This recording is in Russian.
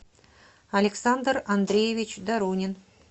александр андреевич дорунин